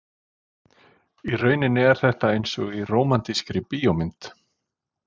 Í rauninni er þetta einsog í rómantískri bíómynd.